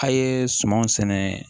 A' ye sumanw sɛnɛ